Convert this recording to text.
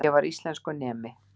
Ég var íslenskunemi.